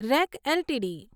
rack LTD